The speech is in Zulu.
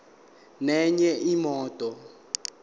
nenye imoto